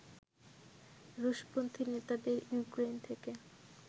রুশপন্থি নেতাদের ইউক্রেইন থেকে